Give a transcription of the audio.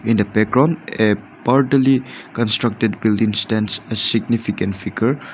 in the background a partially constructed building stands a significant figure.